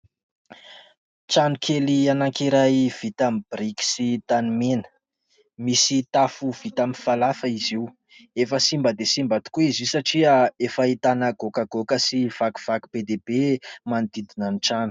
Trano kely anakiray vita amin'ny biriky sy tanimena, misy tafo vita amin'ny falafa izy io, efa simba dia simba tokoa izy io satria efa ahitana goakagoaka sy vakivaky be dia be manodidina ny trano.